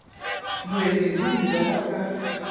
moeti hm ka ba ka